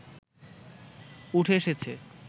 উঠে এসেছ